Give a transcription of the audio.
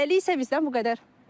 Hələlik isə bizdən bu qədər.